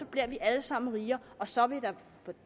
bliver vi alle sammen rigere og så vil der